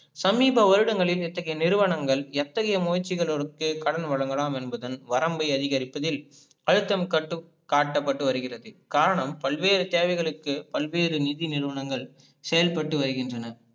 சமீப வருடங்களில் இத்தகைய நிறுவனங்கள் எத்தகைய முயற்சிகளுக்கு கடன் வழங்கலாம் என்பதன் வரம்பை அதிகரிப்பதில் அழுத்தம காட்டப்பட்டு வருகிறது, காரணம் பல்வேறு சேவைகளுக்கு பல்வேறு நிதி நிறுவங்கள் செயல்பட்டு வருகின்றன.